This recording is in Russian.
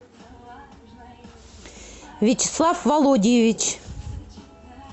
вячеслав володиевич